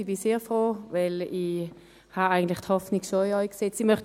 Ich bin sehr froh, weil ich eigentlich die Hoffnung schon in sie gesetzt habe.